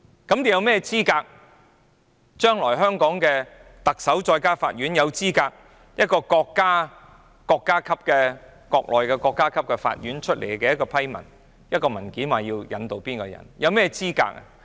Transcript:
那麼，將來香港的特首及法院有甚麼資格拒絕國內的國家級法院發出的批文，以一份文件要求引渡某人？